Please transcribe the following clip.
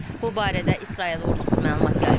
Bu barədə İsrail ordusu məlumat yayıb.